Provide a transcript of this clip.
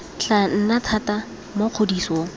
tla nna thata mo kgodisong